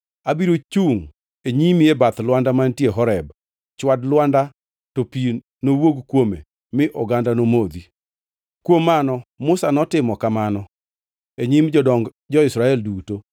Abiro chungʼ e nyimi e bath lwanda mantie Horeb. Chwad lwanda to pi nowuog kuome mi oganda nomodhi.” Kuom Mano Musa notimo kamano e nyim jodong jo-Israel duto.